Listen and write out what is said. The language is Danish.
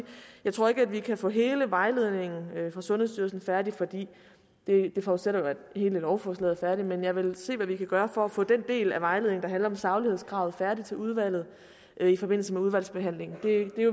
jeg ikke tror at vi kan få hele vejledningen for sundhedsstyrelsen færdig for det forudsætter at hele lovforslaget er færdigt men jeg vil se hvad vi kan gøre for at få den del af vejledningen om saglighedskravet færdig til udvalget i forbindelse med udvalgsbehandlingen det